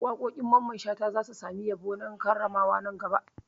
Waƙoƙin Mamman Shata za su sami yabo na karramawa nan gaba.